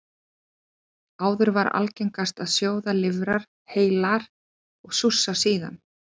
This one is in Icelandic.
Áður var algengast að sjóða lifrar heilar og súrsa síðan.